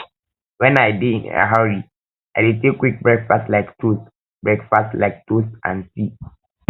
when i dey um in a hurry i dey um take quick breakfast like toast breakfast like toast um and tea